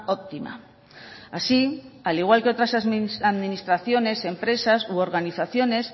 óptima así al igual que otras administraciones empresas u organizaciones